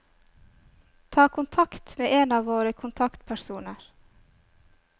Ta kontakt med en av våre kontaktpersoner.